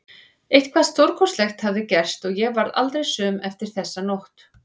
Eitthvað stórkostlegt hafði gerst og ég varð aldrei söm eftir þessa nótt.